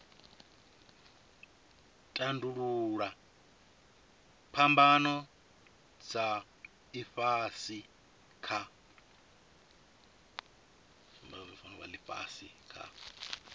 tandululwa phambano dza ifhasi kha